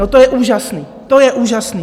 No, to je úžasný, to je úžasný!